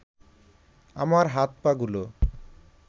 আমার হাত-পাগুলো